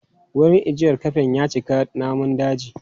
Wurin ajiyar kafen ya cika namun daji.